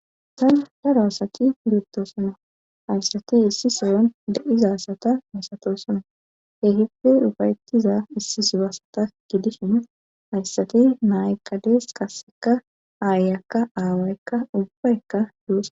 Haysan daro asati luutto suna haysati issi soyon de7iza sata misato suna hehippe dhufayettiza issi subasata gidishin hayssati naaykkadees qasseka aayakka aawaykka ubbaykka yuusa.